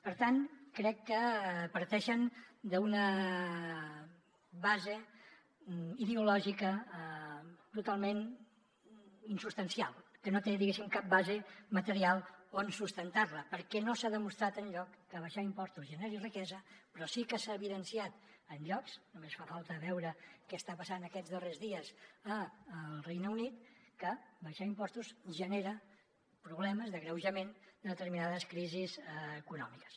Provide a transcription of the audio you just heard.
per tant crec que parteixen d’una base ideològica totalment insubstancial que no té diguéssim cap base material on sustentar la perquè no s’ha demostrat enlloc que abaixar impostos generi riquesa però sí que s’ha evidenciat en llocs només fa falta veure què està passant aquests darrers dies al regne unit que abaixar impostos genera problemes d’agreujament de determinades crisis econòmiques